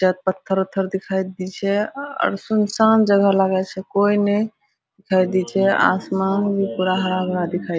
जेत पत्त्थर-उथर दिखाई दी छै और सुनसान जगह लागे छै कोई ने दिखाई दे छै आसमान भी हरा-भरा दिखाई छै।